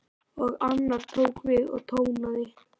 Og annar tók við og tónaði: